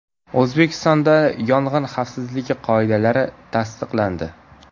O‘zbekistonda yong‘in xavfsizligi qoidalari tasdiqlandi.